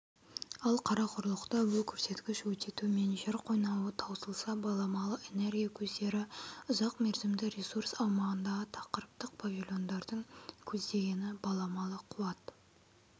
ал қарақұрлықта бұл көрсеткіш өте төмен жер қойнауы таусылса баламалы энергия көздері ұзақ мерзімді ресурс аумағындағы тақырыптық павильондардың көздегені баламалы қуат